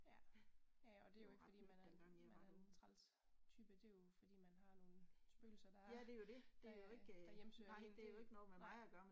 Ja. Ja og det jo ikke fordi man er en man er en træls type det jo fordi man har nogle spøgelser der øh der hjemsøger en det